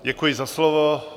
Děkuji za slovo.